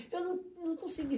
Eu não não consegui.